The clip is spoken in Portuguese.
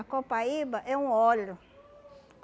A copaíba é um óleo.